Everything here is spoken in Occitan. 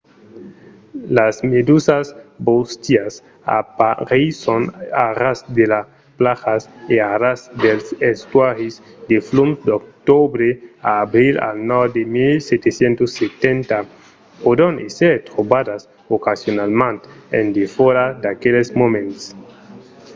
las medusas bóstias apareisson a ras de las plajas e a ras dels estuaris de flums d’octobre a abril al nòrd de 1770. pòdon èsser trobadas ocasionalament en defòra d'aqueles moments